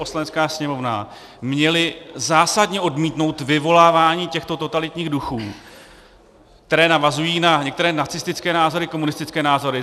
Poslanecká sněmovna měli zásadně odmítnout vyvolávání těchto totalitních duchů, které navazuje na některé nacistické názory, komunistické názory.